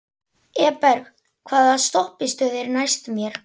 Eberg, hvaða stoppistöð er næst mér?